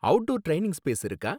Outdoor training space இருக்கா?